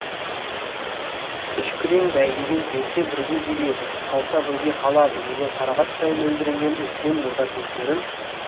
үш күрең бәйгеден келсе бірге келеді қалса бірге қалады деген қарақаттай мөлдіреген үлкен бота көздерін